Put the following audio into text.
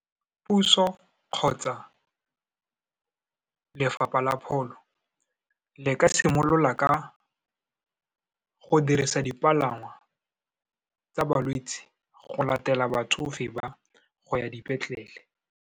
Puso kgotsa Lefapha la Pholo, le ka simolola ka go dirisa dipalangwa tsa balwetse go latela batsofe ba, go ya dipetlele.